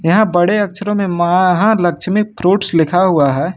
यहां बड़े अक्षरों में महालक्ष्मी फ्रूट्स लिखा हुआ है।